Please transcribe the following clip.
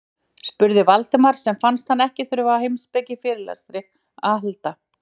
spurði Valdimar sem fannst hann ekki þurfa á heimspekifyrirlestri að halda.